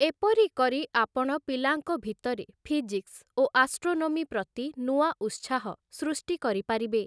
ଏପରି କରି ଆପଣ ପିଲାଙ୍କ ଭିତରେ ଫିଜିକ୍ସ ଓ ଆଷ୍ଟ୍ରୋନୋମି ପ୍ରତି ନୂଆ ଉତ୍ସାହ ସୃଷ୍ଟି କରିପାରିବେ ।